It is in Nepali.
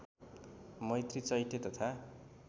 मैत्री चैत्य तथा